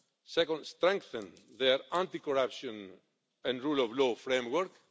second, to strengthen their anti corruption and rule of law framework